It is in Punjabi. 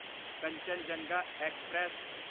ਕੰਚਨਜੰਗਾ ਐਕਸਪ੍ਰੈਸ